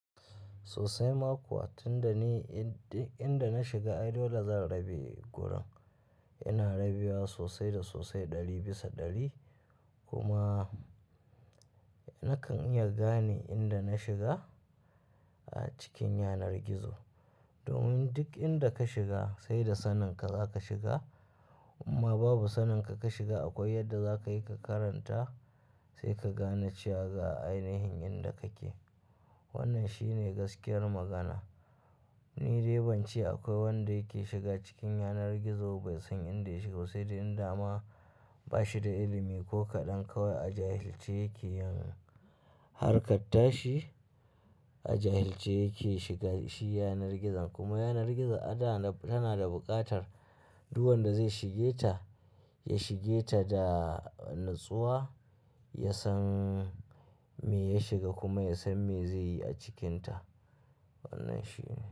Sosai makuwa tun da ni duk inda na shiga ai dole da zan rabi gurin, ina rabewa sosai da sosai ɗari bisa ɗari kuma nakan iya gane inda na shiga a cikin yanar gizo. Domin duk inda ka shiga saida saninka zaka shiga inma babu saninka ka shiga akwai yadda zakayi ka karanta sai ka gane cewa ga ainihin inda kake. Wannan shine gaskiyar magana. Ni dai ban ce akwai wanda yake shiga cikin yanar gizo bai san inda yake ba sai dai inda ma bashi da ilimi ko kaɗan kawai a jahilce yake yin harkatashi a jahilce yake shigan shi yanar gizon kuma yanar gizo ada tana da buƙatar duk wanda zai shige ta, ya shige ta da natsuwa, ya san me ya shiga kuma ya san me zai yi a cikinta. Wannan shi ne.